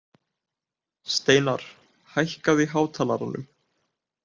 Steinarr, hækkaðu í hátalaranum.